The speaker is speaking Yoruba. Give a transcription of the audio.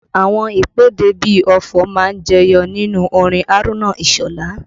Àwọn ìpèdè bí ọfọ̀ má ń jẹyọ nínú orin Haruna Isola